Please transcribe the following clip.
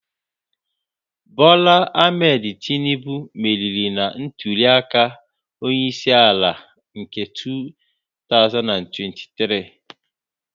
Bola Ahmed Tinubu meriri na ntuli aka onye isi ala nke 2023